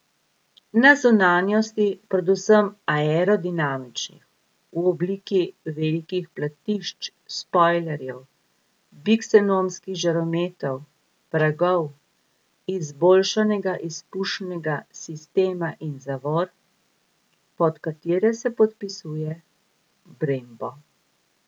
Na zunanjosti predvsem aerodinamičnih, v obliki velikih platišč, spojlerjev, biksenonskih žarometov, pragov, izboljšanega izpušnega sistema in zavor, pod katere se podpisuje Brembo.